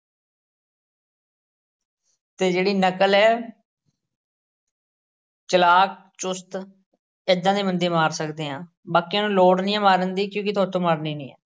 ਅਤੇ ਜਿਹੜੀ ਨਕਲ ਏ ਚਲਾਕ ਚੁਸਤ ਏਦਾਂ ਦੇ ਬੰਦੇ ਮਾਰ ਸਕਦੇ ਆ ਬਾਕੀਆਂ ਨੂੰ ਲੋੜ ਨਹੀਂ ਹੈ ਮਾਰਨ ਦੀ ਕਿਉਂਕਿ ਤੁਹਾਡੇ ਤੋਂ ਮਰਨੀ ਨਹੀਂ,